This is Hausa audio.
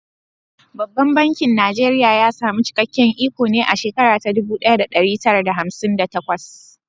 Babban bankin Najeriya ya samu cikakken iko ne a shekara ta dubu ɗaya da ɗari tara da hamsin da takwas.